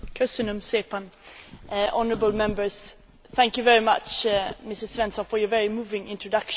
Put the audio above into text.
Thank you very much, Mrs Svensson, for your very moving introduction on this extremely important subject.